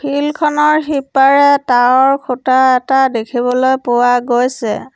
Field খনৰ সিপাৰে tower খুঁটা এটা দেখিবলৈ পোৱা গৈছে।